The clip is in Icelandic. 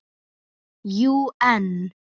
Jú, en